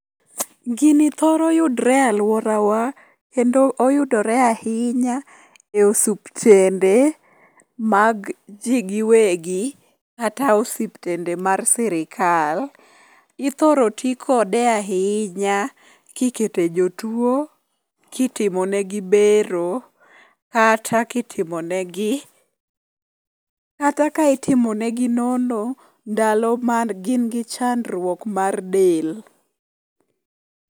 Gini thoro yudre alworawa kendo oyudore ahinya e osuptende mag ji giwegi kata osiptende mar sirikal. Ithoro ti kode ahinya kikete jotuo kitimonegi bero kata kitimonegi nono ndalo magin gi chandruok mar del